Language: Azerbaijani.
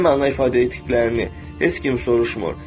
Nə məna ifadə etdiklərini heç kim soruşmur.